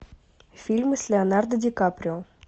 фильмы с леонардо ди каприо